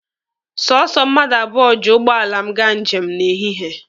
Sọsọ mmadụ abụọ ji ụgbọala m gaa njem n'ehihie.